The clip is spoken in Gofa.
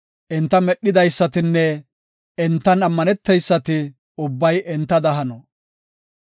Enta medhidaysatinne entan ammaneteysati ubbay entada hano.